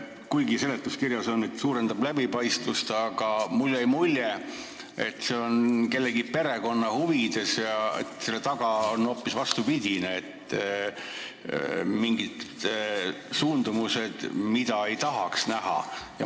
Kuigi seletuskirjas on öeldud, et suurendab läbipaistvust, jäi mulle mulje, et see on tehtud kellegi perekonna huvides ja selle taga on hoopis vastupidine asi, mingid suundumused, mida ei tahaks näha.